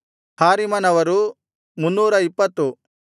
ಹಾರಿಮನವರು 320